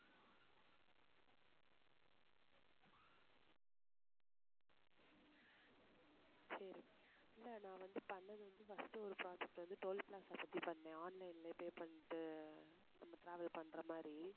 சரி இல்லை நான் வந்து பண்ணது வந்து first ஒரு project வந்து toll plaza பத்தி பண்ணேன் online லே pay பண்ணிட்டு நம்ம travel பண்ற மாதிரி